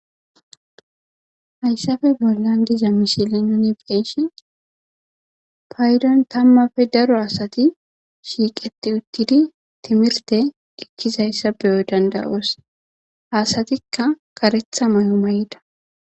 Hayssafe bollan diza mishili nini beeshe paydon tammafe daro asati shiiqeti uttidi timirte gikkizayssa beyo dandawoos hasatikka karetha may'o mayda.